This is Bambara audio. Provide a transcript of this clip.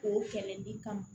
O kɛlɛli kama